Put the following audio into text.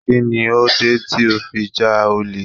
Kí ni ó dé tí ó fi ja olè?